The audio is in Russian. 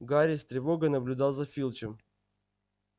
гарри с тревогой наблюдал за филчем